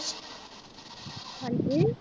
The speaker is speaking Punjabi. ਹਾਂਜੀ।